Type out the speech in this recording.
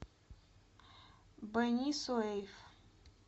бени суэйф